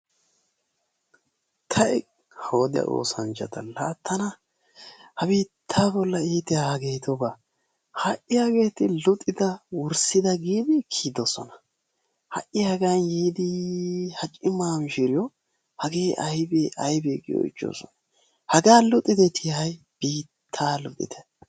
Tay! Ha wodiya oosanchchata, la tana ha biitta bolla iitiyay hageetubaa. Ha'i hageeti luxida wurssida giidi kiyyidoosona. Ha'i hagan yiidi ha cima mishiriyo hage aybbe aybbe giidi oychchoosona. Haga luxideeti hay biittaa luxitte!